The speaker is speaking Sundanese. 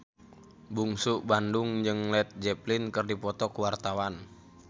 Bungsu Bandung jeung Led Zeppelin keur dipoto ku wartawan